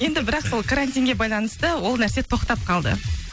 енді бірақ сол карантинге байланысты ол нәрсе тоқтап қалды